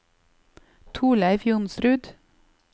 Thorleif Johnsrud